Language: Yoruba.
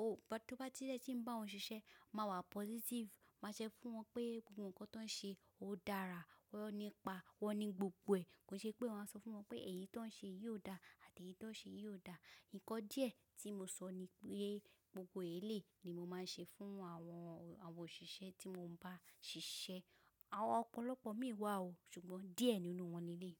Ó, tó bá ti ri eni tí ń bá wọn ṣiṣẹ́, má wà positive. Má ṣẹ́ fún wọn pé gbogbo ǹkan tó ń ṣe, ó dára, wọ́n ni ipa, wọ́n ni gbogbo ẹ̀. Kòi ṣe pé wàá sọ fún wọn pé èyí tó ń ṣe yii ò dà àti èyí tó ń ṣe yii ò dà. Ǹkan díẹ̀ tí mo sọ ni pé gbogbo èléyi ni mo máa ń ṣe fún àwọn, àwọn òṣìṣẹ́ tí mo ń bá ṣiṣẹ́. Àwọn ọ̀pọ̀lọpọ̀ mii wà o, ṣùgbọ́n díẹ̀ nínú wọn ni eléyi.